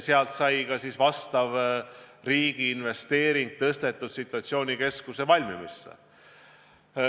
Sealt sai ka vastav riigi investeering suunatud ümber situatsioonikeskuse valmimisse.